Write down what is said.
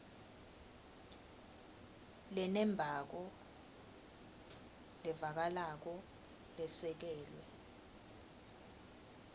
lenembako levakalako lesekelwe